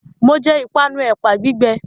Mo jẹ ìpanu ẹ̀pà gbígbẹ